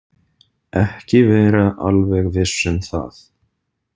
Ekki vera alveg viss um það.